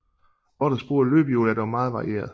Rotters brug af løbehjul er dog meget varieret